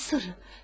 Nə sırrı?